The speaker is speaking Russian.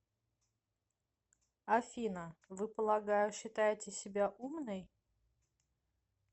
афина вы полагаю считаете себя умной